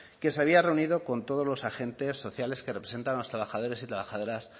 que se había reunido con todos los agentes sociales que representan a los trabajadores y trabajadoras